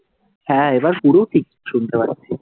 হ্যাঁ এবার পুরো ঠিক শুনতে পাচ্ছি।